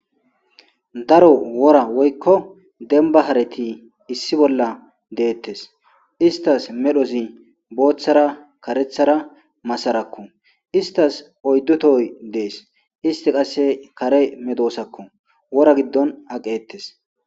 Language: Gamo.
Daro wora woykko denba hareti issi bolla deettes istas medhozi booththara karethara masarakko istas oyddotoy dees isti qasse kare medoosakko wora giddon aqeettes.